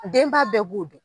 Denba bɛɛ b'o don